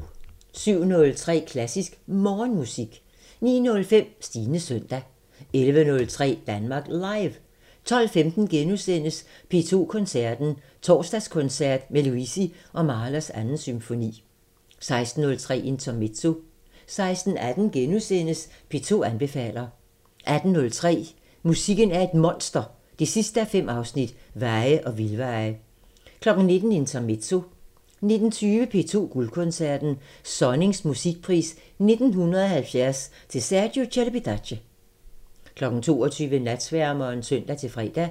07:03: Klassisk Morgenmusik 09:05: Stines søndag 11:03: Danmark Live 12:15: P2 Koncerten – Torsdagskoncert med Luisi og Mahlers 2. symfoni * 16:03: Intermezzo 16:18: P2 anbefaler * 18:03: Musikken er et monster 5:5 – Veje og vildveje 19:00: Intermezzo 19:20: P2 Guldkoncerten – Sonnings musikpris 1970 til Sergiu Celibidache 22:00: Natsværmeren (søn-fre)